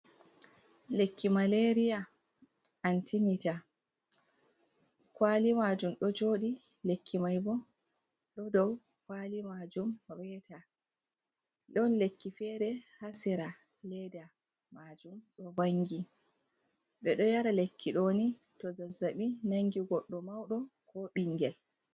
Lekki maleeriya antimita, kaali maajum ɗo jooɗi, lekki may bo, ɗo dow kaali maajum reeta, ɗon lekki feere haa sera, leeda maajum ɗo vangi, ɓe ɗo yara lekki on ni to zazzaɓi nangi goɗɗo mawɗo ko ɓinngel.